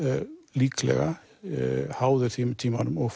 líklega háðir því með tímanum og